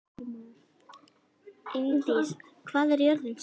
Ingdís, hvað er jörðin stór?